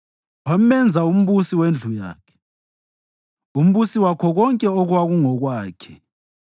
Wamenza umbusi wendlu yakhe, umbusi wakho konke okwakungokwakhe,